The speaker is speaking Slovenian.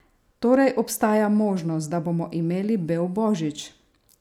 Torej obstaja možnost, da bomo imeli bel božič?